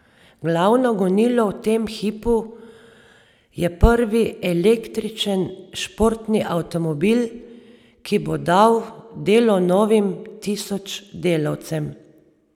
Glavno gonilo v tem hipu je prvi električen športni avtomobil, ki bo dal delo novim tisoč delavcem.